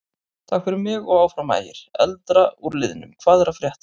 Takk fyrir mig og Áfram Ægir.Eldra úr liðnum Hvað er að frétta?